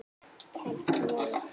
Kælt niður.